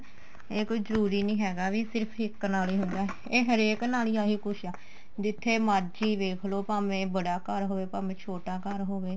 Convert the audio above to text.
ਇਹ ਕੋਈ ਜਰੂਰੀ ਨੀ ਹੈਗਾ ਵੀ ਸਿਰਫ ਇੱਕ ਨਾਲ ਹੀ ਹੁੰਦਾ ਇਹ ਹਰੇਕ ਨਾਲ ਹੀ ਆਹੀ ਕੁੱਝ ਆ ਜਿੱਥੇ ਮਰਜੀ ਵੇਖ ਲੋ ਭਾਵੇ ਬੜਾ ਘਰ ਹੋਵੇ ਭਾਵੇ ਛੋਟਾ ਘਰ ਹੋਵੇ